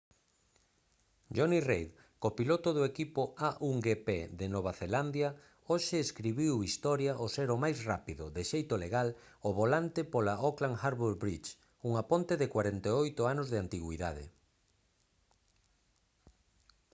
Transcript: jonny reid copiloto do equipo a1gp de nova zelandia hoxe escribiu historia ao ser o máis rápido de xeito legal ao volante pola auckland harbour bridge unha ponte de 48 anos de antigüidade